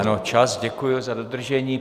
Ano, čas, děkuji za dodržení.